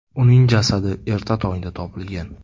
Uning jasadi erta tongda topilgan.